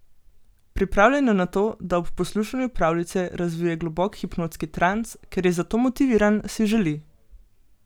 Pripravljen je na to, da ob poslušanju pravljice razvije globok hipnotski trans, ker je za to motiviran, si želi.